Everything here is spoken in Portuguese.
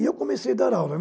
E eu comecei a dar aula.